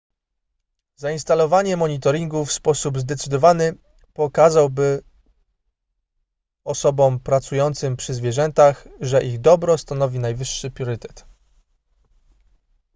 zainstalowanie monitoringu w sposób zdecydowany pokazałby osobom pracującym przy zwierzętach że ich dobro stanowi najwyższy priorytet